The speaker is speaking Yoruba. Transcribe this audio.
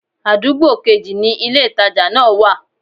Àdúgbò kejì ni ilé-ìtàjà náà wa